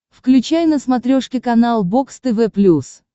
включай на смотрешке канал бокс тв плюс